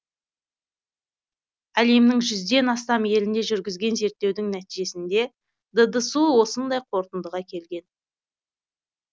әлемнің жүзден астам елінде жүргізген зерттеудің нәтижесінде ддсұ осындай қорытындыға келген